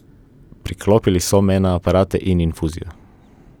Priklopili so me na aparate in infuzijo.